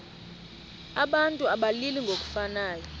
abantu abalili ngokufanayo